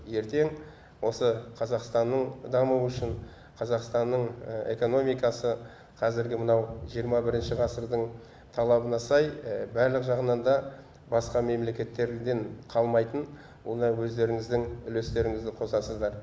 ертең осы қазақстанның дамуы үшін қазақстанның экономикасы қазіргі мынау жиырма бірінші ғасырдың талабына сай барлық жағынан да басқа мемлекеттерден қалмайтын оны өздеріңіздің үлестеріңізді қосасыздар